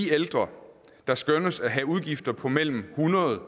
ældre der skønnes at have udgifter på mellem hundrede